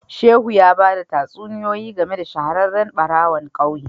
Shehu ya bada tatsuniyoyi game da shahararren barawon kauye